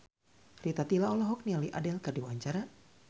Rita Tila olohok ningali Adele keur diwawancara